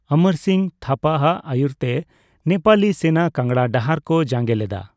ᱚᱢᱚᱨ ᱥᱤᱝᱦᱚ ᱛᱷᱟᱯᱟ ᱟᱜ ᱟᱹᱭᱩᱨ ᱛᱮ ᱱᱮᱯᱟᱞᱤ ᱥᱮᱱᱟ ᱠᱟᱝᱲᱟ ᱰᱟᱦᱟᱨ ᱠᱚ ᱡᱟᱸᱜᱮ ᱞᱮᱫᱟ ᱾